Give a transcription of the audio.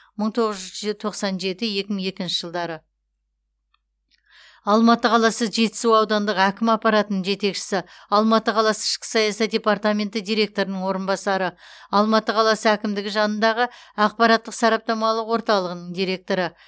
мың тоғыз жүз тоқсан жеті екі мың екінші жылдары алматы қаласы жетісу аудандық әкім аппаратының жетекшісі алматы қаласы ішкі саясат департаменті директорының орынбасары алматы қаласы әкімдігі жанындағы ақпараттық сараптамалық орталығының директоры